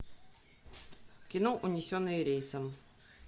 кино унесенные рейсом